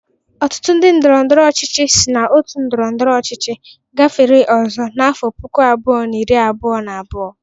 Ọtụtụ ndị ndọrọndọrọ ọchịchị sịrị n'otu ndọrọndọrọ ọchịchị gafere ọzọ na afọ puku abụọ na iri abụọ na abụọ.